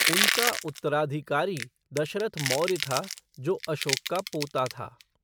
उनका उत्तराधिकारी दशरथ मौर्य था, जो अशोक का पोता था।